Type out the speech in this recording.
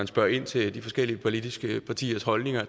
spørge ind til de forskellige politiske partiers holdning